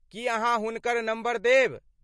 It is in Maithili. की अहाँ हुनकर नम्बर देब?